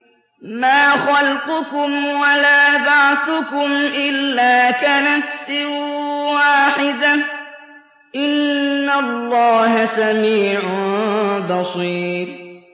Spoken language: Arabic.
مَّا خَلْقُكُمْ وَلَا بَعْثُكُمْ إِلَّا كَنَفْسٍ وَاحِدَةٍ ۗ إِنَّ اللَّهَ سَمِيعٌ بَصِيرٌ